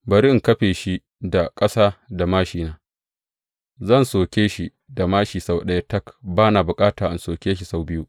Bari in kafe shi da ƙasa da māshina, zan soke shi da māshi sau ɗaya tak, ba na bukata in soke shi sau biyu.